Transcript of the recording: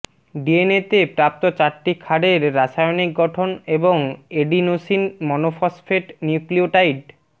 ডিএনএতে প্রাপ্ত চারটি ক্ষারের রাসায়নিক গঠন এবং এডিনোসিন মনোফসফেট নিউক্লিওটাইড